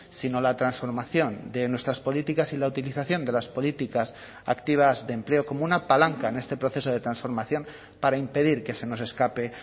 sino la transformación de nuestras políticas y la utilización de las políticas activas de empleo como una palanca en este proceso de transformación para impedir que se nos escape